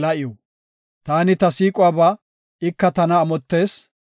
Taani ta siiquwaba; ika tana amottees.